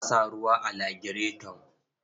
An sa ruwa a lagireton?